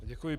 Děkuji.